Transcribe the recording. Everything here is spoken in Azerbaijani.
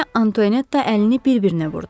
Maria Antoynetta əlini bir-birinə vurdu.